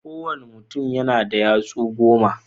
Ko wanna mutum yana da yatsu goma.